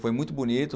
Foi muito bonito.